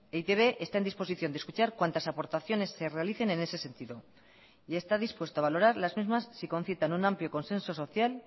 e i te be está en disposición de escuchar cuantas aportaciones se realicen en ese sentido y está dispuesto a valorar las mismas si concitan un amplio consenso social